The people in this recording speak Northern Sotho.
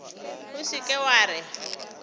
o se ke wa re